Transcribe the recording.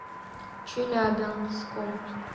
челябинском